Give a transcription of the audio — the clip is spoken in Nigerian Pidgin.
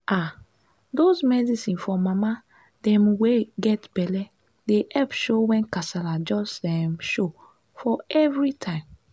ah those medicine for mama dem wey get belle dey epp show wen kasala just um show for everytime